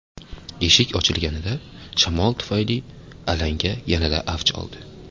Eshik ochilganida, shamol tufayli alanga yanada avj oldi.